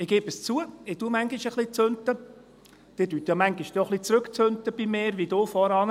– Ich gebe es zu, ich «zünte» manchmal ein wenig, Sie «zünten» ja dann manchmal bei mir ein wenig zurück, wie du vorhin.